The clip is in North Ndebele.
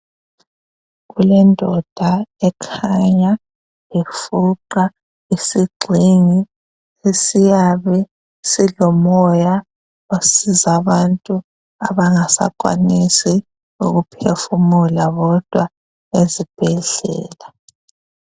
Kulendoda ekhanya ifuqa isixhingi esiyabe silomoya osiza abantu abangasakwanisi ukuphefumula bodwa ezibhedlela.